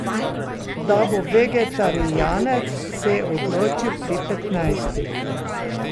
Da bo vegetarijanec, se je odločil pri petnajstih.